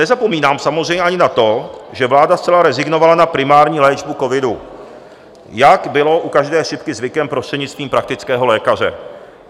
Nezapomínám samozřejmě ani na to, že vláda zcela rezignovala na primární léčbu covidu, jak bylo u každé chřipky zvykem, prostřednictvím praktického lékaře.